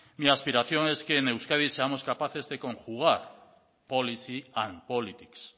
mi aspiración es que en euskadi seamos capaces de conjugar policy and politics